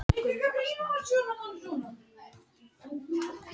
Bresk hjón laus úr haldi sjóræningja